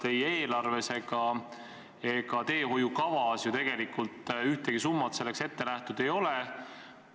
Ei eelarves ega teehoiukavas ju tegelikult mingit summat selleks ette nähtud ei ole.